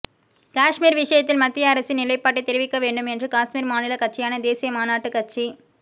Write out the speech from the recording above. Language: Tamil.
காஷ்மீர் விஷயத்தில் மத்திய அரசின் நிலைப்பாட்டை தெரிவிக்க வேண்டும் என்று காஷ்மீர் மாநில கட்சியான தேசிய மாநாட்டு கட்சி